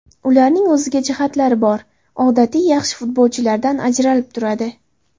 Ularning o‘ziga jihatlari bor, odatiy yaxshi futbolchilardan ajralib turadi.